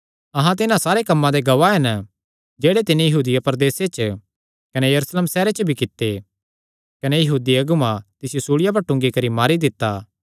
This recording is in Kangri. अहां तिन्हां सारे कम्मां दे गवाह हन जेह्ड़े तिन्नी यहूदिया प्रदेस च कने यरूशलेम सैहरे च भी कित्ते कने यहूदी अगुआं तिसियो सूल़िया पर टूंगी करी मारी दित्ता